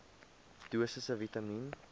dosisse vitamien